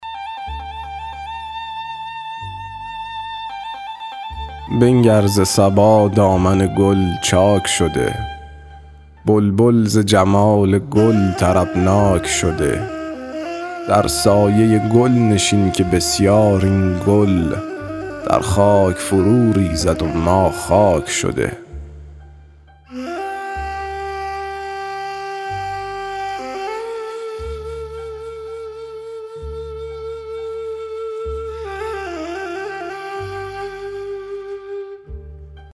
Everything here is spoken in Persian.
بنگر ز صبا دامن گل چاک شده بلبل ز جمال گل طربناک شده در سایه گل نشین که بسیار این گل در خاک فرو ریزد و ما خاک شده